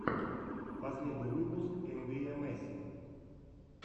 последний выпуск эмвиэмэси